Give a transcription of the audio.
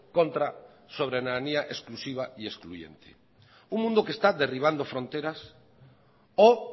contra soberanía exclusiva y excluyente un mundo que está derribando fronteras o